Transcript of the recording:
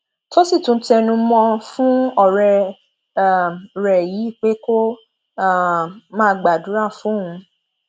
tó sì tún tẹnu mọ ọn fún ọrẹ um rẹ yìí pé kó um máa gbàdúrà fóun